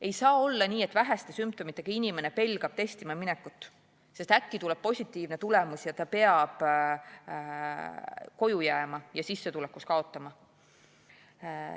Ei saa olla nii, et väheste sümptomitega inimene pelgab testima minekut, sest äkki tuleb positiivne tulemus ja ta peab koju jääma ja sissetulekus kaotama.